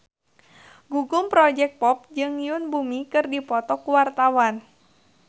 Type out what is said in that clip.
Gugum Project Pop jeung Yoon Bomi keur dipoto ku wartawan